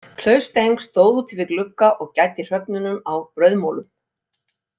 Klaus Steng stóð úti við glugga og gæddi hröfnum á brauðmolum.